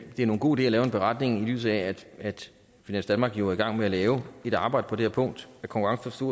det er nogen god idé at lave en beretning i lyset af at finans danmark jo er i gang med at lave et arbejde på det her punkt og at konkurrence